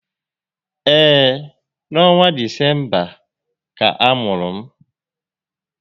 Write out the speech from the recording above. Ee, n'ọnwa Disemba ka a mụrụ m